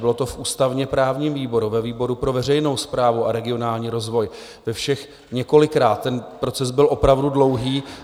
Bylo to v ústavně-právním výboru, ve výboru pro veřejnou správu a regionální rozvoj, ve všech několikrát, ten proces byl opravdu dlouhý.